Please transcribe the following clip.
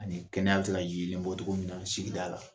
Ani kɛnɛ bɛ se ka yelen bɔ cogo min na sigida la.